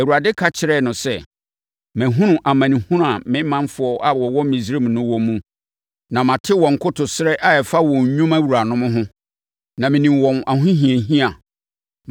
Awurade ka kyerɛɛ no sɛ, “Mahunu amanehunu a me manfoɔ a wɔwɔ Misraim no wɔ mu, na mate wɔn nkotosrɛ a ɛfa wɔn nnwuma wuranom ho, na menim wɔn ahohiahia.